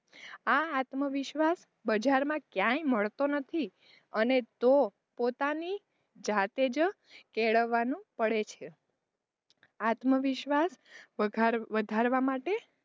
આ આત્મવિશ્વાસ બજારમાં ક્યાય મળતો નથી એને તો પોતાની જાતે જ કેળવાનું પડે છે આત્મવિશ્વાસ વધારવા માટે,